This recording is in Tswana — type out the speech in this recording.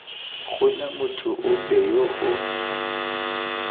gona motho ope yo o